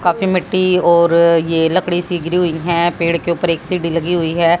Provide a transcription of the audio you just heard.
काफी मिट्टी और ये लकड़ी सी गिरी हुई है पेड़ के ऊपर एक सीढ़ी लगी हुई है।